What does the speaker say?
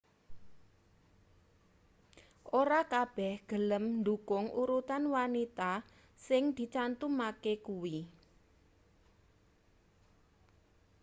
ora kabeh gelem ndhukung urutan wanita sing dicantumke kuwi